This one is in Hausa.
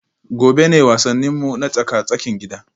Gobe ​​ne wasanninmu na tsaka-tsakin gida